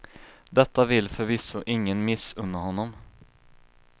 Detta vill förvisso ingen missunna honom.